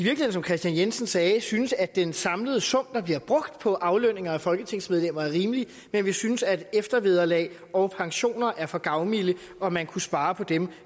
som kristian jensen sagde synes at den samlede sum der bliver brugt på aflønning af folketingsmedlemmer er rimelig men vi synes at eftervederlag og pensioner er for gavmilde og at man kunne spare på dem